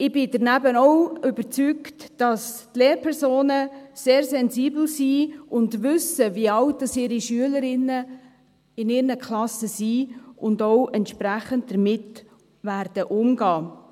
Ich bin zudem überzeugt, dass die Lehrpersonen sehr sensibel sind und wissen, wie alt die Schülerinnen in ihren Klassen sind und auch entsprechend damit umgehen werden.